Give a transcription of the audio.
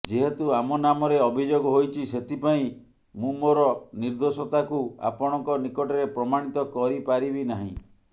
ଯେହେତୁ ଆମ ନାମରେ ଅଭିଯୋଗ ହୋଇଛି ସେଥିପାଇଁ ମୁଁ ମୋର ନିର୍ଦ୍ଧୋଷତାକୁ ଆପଣଙ୍କ ନିକଟରେ ପ୍ରମାଣିତ କରିପାରିବି ନାହିଁ